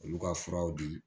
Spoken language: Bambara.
Olu ka furaw di